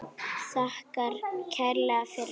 Þakkar kærlega fyrir sig.